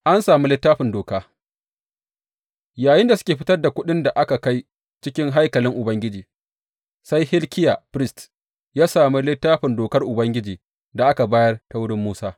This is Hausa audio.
An sami Littafin Doka Yayinda suke fitar da kuɗin da aka kai cikin haikalin Ubangiji, sai Hilkiya firist ya sami Littafin Dokar Ubangiji da aka bayar ta wurin Musa.